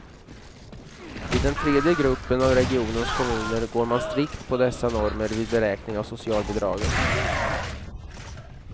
I den tredje gruppen av regionens kommuner går man strikt på dessa normer vid beräkning av socialbidraget.